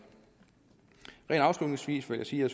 afslutningsvis vil jeg sige at